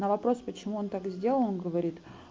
на вопрос почему он так сделал он говорит